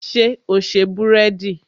Ṣé o se búrẹ́dì?